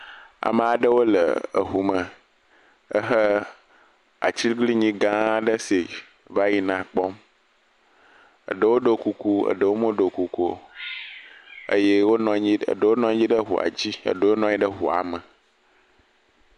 Ame aɖewo le eŋu me ehe atiglinyi gã aɖe si va yina kpɔm eɖewo ɖo kuku, eɖewo meɖo kuku o eye wonɔ anyi ɖe, eɖewo nɔ anyi ɖe eŋua dzi eɖewo nɔ anyi ɖe eŋua me.